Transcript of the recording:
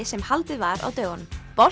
sem haldið var á dögunum